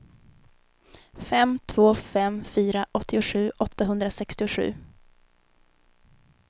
fem två fem fyra åttiosju åttahundrasextiosju